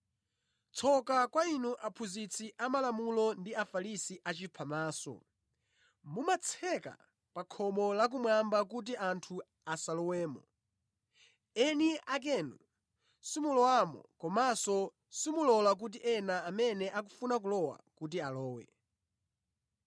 “Tsoka kwa inu aphunzitsi amalamulo ndi Afarisi achiphamaso! Mumatseka pa khomo la kumwamba kuti anthu asalowemo. Eni akenu simulowamo komanso simulola kuti ena amene akufuna kulowa kuti alowe.